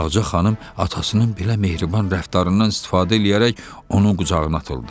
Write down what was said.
Ağaca xanım atasının belə mehriban rəftarından istifadə eləyərək onun qucağına atıldı.